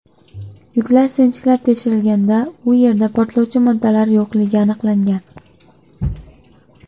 Yuklar sinchiklab tekshirilganda u yerda portlovchi moddalar yo‘qligi aniqlangan.